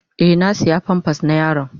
Eh, na siya "pampers " na yaron.